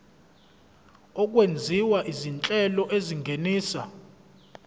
okwenziwa izinhlelo ezingenisa